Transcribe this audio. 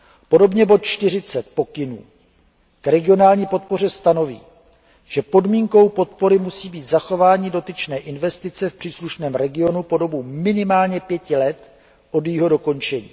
Podobně bod 40 pokynů k regionální podpoře stanoví, že podmínkou podpory musí být zachování dotyčné investice v příslušném regionu po dobu minimálně pěti let od jejího dokončení.